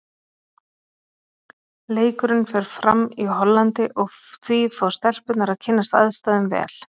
Leikurinn fer fram í Hollandi og því fá stelpurnar að kynnast aðstæðum vel.